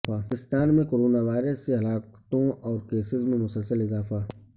پاکستان میں corona virus سے ہلاکتوں اور کیسز میں مسلسل اضافہ